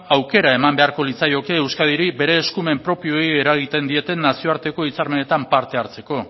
aukera eman beharko litzaioke euskadiri bere eskumen propioei eragiten dieten nazioarteko hitzarmenetan parte hartzeko